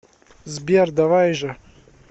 сбер давай же